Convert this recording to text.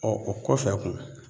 Ɔ o kɔfɛ kun